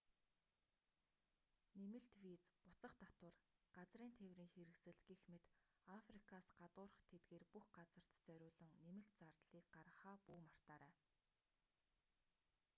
нэмэлт виз буцах татвар газрын тээврийн хэрэгсэл гэх мэт африкаас гадуурх тэдгээр бүх газарт зориулан нэмэлт зардлыг гаргахаа бүү мартаарай